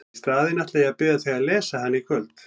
Í staðinn ætla ég að biðja þig að lesa hana í kvöld!